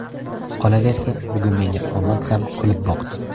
Qolaversa, bugun menga omad ham kulib boqdi.